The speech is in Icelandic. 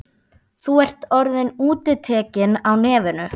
Þú ert orðinn útitekinn á nefinu.